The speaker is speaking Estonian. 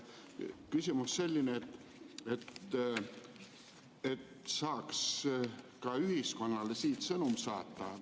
Küsimus on selline: kas saaks ka ühiskonnale siit sõnumi saata?